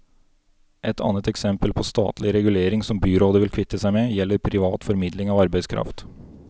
Et annet eksempel på statlig regulering som byrådet vil kvitte seg med, gjelder privat formidling av arbeidskraft.